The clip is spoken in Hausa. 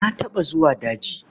Na taɓa zuwa daji.